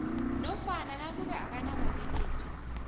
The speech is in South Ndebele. nofana nakube akanababelethi